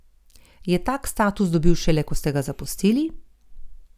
Je tak status dobil šele, ko ste ga zapustili?